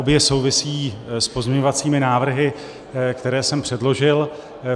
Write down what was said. Obě souvisí s pozměňovacími návrhy, které jsem předložil.